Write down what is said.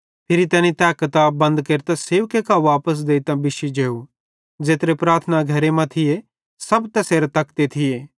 फिरी तैनी तै किताब बंद केरतां सेवके कां वापस देइतां बिश्शी जेव ज़ेत्रे प्रार्थना घरे मां थिये सब तैसेरां तकते थिये